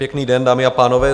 Pěkný den, dámy a pánové.